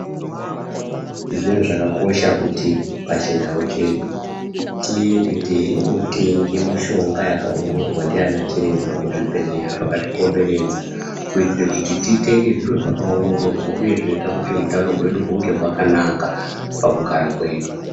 Zvinhu zvakakosha kuti pachindau chedu tiende teiotenge mishonga yakaongororwa ndiana chiremba kuzvibhedhleya zvakatikomberedza. Kuitire kuti titenge zviro zvakaongororwa uye zvinoita kuti utano hwedu hunge hwakanaka pakugara kwedu.